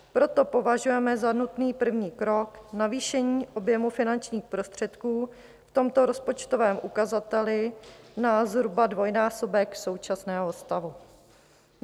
Proto považujeme za nutný první krok navýšení objemu finančních prostředků v tomto rozpočtovém ukazateli na zhruba dvojnásobek současného stavu.